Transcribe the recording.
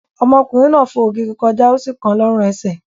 Ọmọkùnrin náà fo ògiri kọjá, ó sì kan lọ́rùn-ẹsẹ̀.